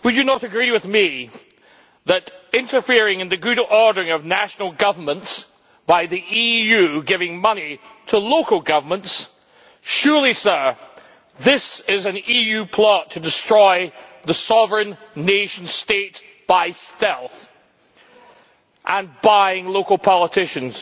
Would you not agree with me that interfering in the good ordering of national governments, through the EU giving money to local governments, is surely an EU plot to destroy the sovereign nation state by stealth and by buying local politicians?